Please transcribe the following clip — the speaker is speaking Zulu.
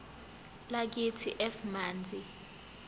lakithi f manzi